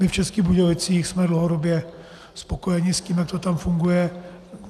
My v Českých Budějovicích jsme dlouhodobě spokojeni s tím, jak to tam funguje.